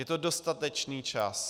Je to dostatečný čas.